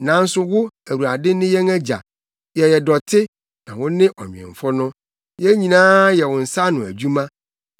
Nanso wo, Awurade, ne yɛn Agya. Yɛyɛ dɔte, na wo ne ɔnwemfo no; yɛn nyinaa yɛ wo nsa ano adwuma.